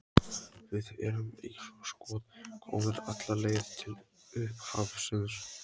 Við erum eins og skot komnir alla leið til upphafsins.